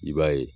I b'a ye